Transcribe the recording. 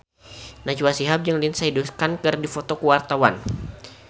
Najwa Shihab jeung Lindsay Ducan keur dipoto ku wartawan